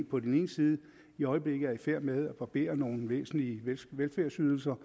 på den ene side i øjeblikket er i færd med at barbere nogle væsentlige velfærdsydelser